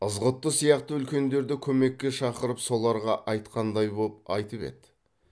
ызғұтты сияқты үлкендерді көмекке шақырып соларға айтқандай боп айтып еді